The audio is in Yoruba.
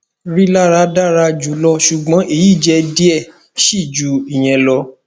rilara dara julọ ṣugbọn eyi jẹ diẹ sii ju iyẹn lọ